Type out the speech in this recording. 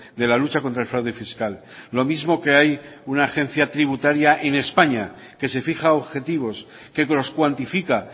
de la lucha contra el fraude fiscal lo mismo que hay una agencia tributaria en españa que se fija objetivos que los cuantifica